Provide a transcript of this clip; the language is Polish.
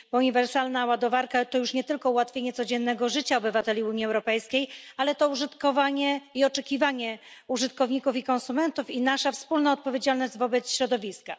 Uniwersalna ładowarka to już nie tylko ułatwienie codziennego życia obywateli Unii Europejskiej, ale także oczekiwanie użytkowników i konsumentów i nasza wspólna odpowiedzialność wobec środowiska.